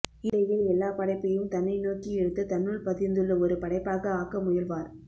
இல்லையேல் எல்லா படைப்பையும் தன்னைநோக்கி இழுத்து தன்னுள் பதிந்துள்ள ஒருபடைப்பாக ஆக்க முயல்வார்